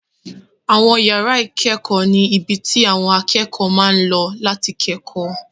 Àwọn yàrá ìkẹ́kọ̀ọ́ ni ibi tí àwọn akẹ́kọ̀ọ́ ti máa ń lọ láti kẹ́kọ̀ọ́